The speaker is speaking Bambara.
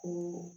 Ko